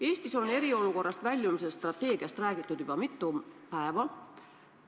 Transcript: Eestis on eriolukorrast väljumise strateegiast räägitud juba mitu päeva.